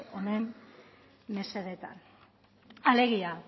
honen mesedetan alegia